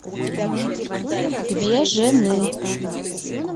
две жены